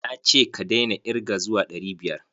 Na ce ka daina irge zuwa ɗari biyar?